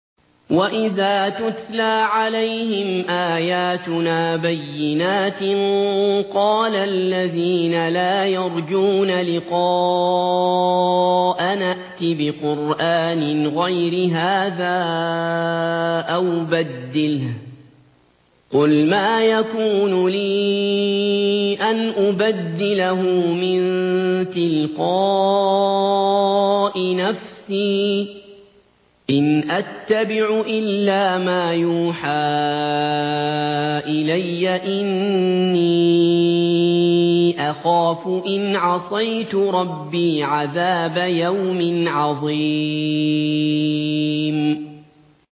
وَإِذَا تُتْلَىٰ عَلَيْهِمْ آيَاتُنَا بَيِّنَاتٍ ۙ قَالَ الَّذِينَ لَا يَرْجُونَ لِقَاءَنَا ائْتِ بِقُرْآنٍ غَيْرِ هَٰذَا أَوْ بَدِّلْهُ ۚ قُلْ مَا يَكُونُ لِي أَنْ أُبَدِّلَهُ مِن تِلْقَاءِ نَفْسِي ۖ إِنْ أَتَّبِعُ إِلَّا مَا يُوحَىٰ إِلَيَّ ۖ إِنِّي أَخَافُ إِنْ عَصَيْتُ رَبِّي عَذَابَ يَوْمٍ عَظِيمٍ